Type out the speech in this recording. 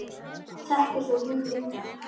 Þekktir þú hinn líka?